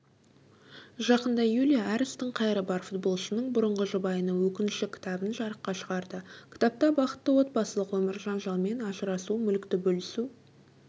жақында юлия әр істің қайыры бар футболшының бұрынғы жұбайының өкініші кітабын жарыққа шығарды кітапта бақытты отбасылық өмір жанжалмен ажырасу мүлікті бөлісу